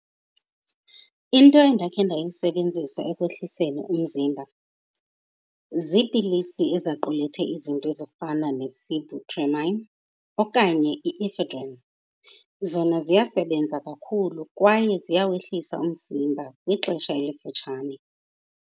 Into endakhe ndayisebenzisa ekwehliseni umzimba ziipilisi ezaqulethe izinto ezifana ne-sibutramine okanye i-ephedrine. Zona ziyasebenza kakhulu kwaye ziyawehlisa umzimba ngexesha elifutshane.